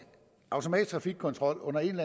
automatisk trafikkontrol under en